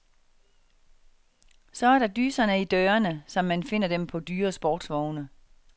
Så er der dyserne i dørene, som man finder dem på dyre sportsvogne.